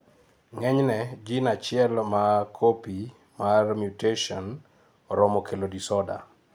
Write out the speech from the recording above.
ng'enyne, gene achiel ma copy mar mutation oromo kelo disorder